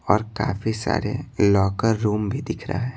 और काफी सारे लॉकर रूम भी दिख रहा है।